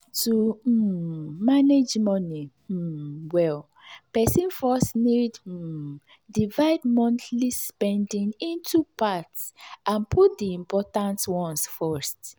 to um manage money um well person first need um divide monthly spending into parts and put the important ones first.